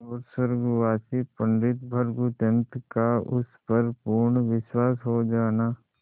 और स्वर्गवासी पंडित भृगुदत्त का उस पर पूर्ण विश्वास हो जाना